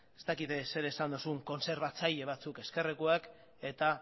ez dakit zer esan duzun kontserbatzaile batzuk ezkerrekoek eta